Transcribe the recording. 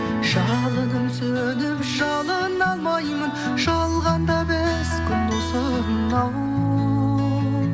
жалынып сөніп жалына алмаймын жалғанда бес күн осынау